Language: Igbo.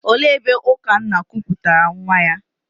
Olee ebe Ukanna kuputara nwa ya?